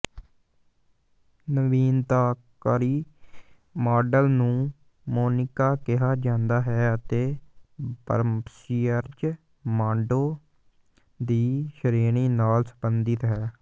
ਨਵੀਨਤਾਕਾਰੀ model ਨੂੰ ਮੋਨਿਕਾ ਕਿਹਾ ਜਾਂਦਾ ਹੈ ਅਤੇ ਬ੍ਰੱਸੀਅਰਜ਼ ਬਾਂਡੋ ਦੀ ਸ਼੍ਰੇਣੀ ਨਾਲ ਸਬੰਧਿਤ ਹੈ